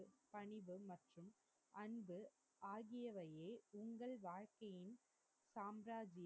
பணிவு மற்றும் அன்பு ஆகியவையே உங்கள் வாழ்கையின் சாம்ராஜியம்